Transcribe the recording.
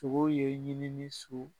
Togow ye ɲinini su